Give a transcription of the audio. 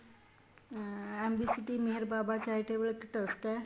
MB city ਇੱਕ Meher Baba charitable ਇੱਕ trust ਏ